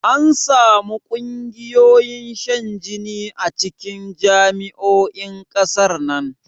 Ansamu ƙungiyoyin shan jini a cikin jami'o'in ƙasar nan